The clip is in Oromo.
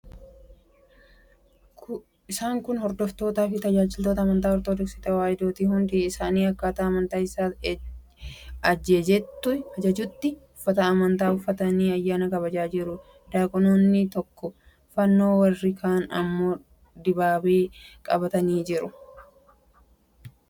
Isaan kun hordoftootaafi tajaajiltoota amantaa Ortodoksii Tewaahidooti. Hundi isaanii akkaataa amantaan isaa ajejjutti uffata amantaa uffatanii ayyaana kabajaa jiru. Diyaaqoniin tokko fannoo, warri kaan immoo dibaabee qabanii jiru. Dibaabeen amantaa Ortodoksii biratti maal fayyada?